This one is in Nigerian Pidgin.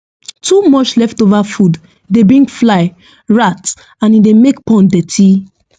too much leftover food dey bring fly rat and e dey make pond dirty